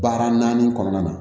Baara naani kɔnɔna na